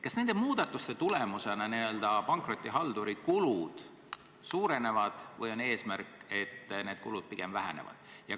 Kas nende muudatuste tulemusena pankrotihalduri kulud suurenevad või on eesmärk, et need kulud pigem vähenevad?